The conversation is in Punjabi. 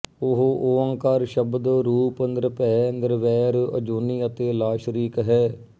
ਉਹ ਓਅੰਕਾਰ ਸ਼ਬਦ ਰੂਪ ਨਿਰਭੈ ਨਿਰਵੈਰ ਅਜੂਨੀ ਅਤੇ ਲਾਸ਼ਰੀਕ ਹੈ